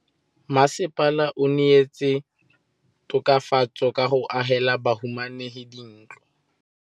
Mmasepala o neetse tokafatsô ka go agela bahumanegi dintlo.